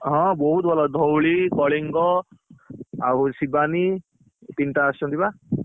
ହଁ, ବହୁତ ଭଲ ଧଉଳି କଳିଙ୍ଗ, ଆଉ ଶିବାନୀ, ତିନିଟା ଆସିଛନ୍ତି ବା।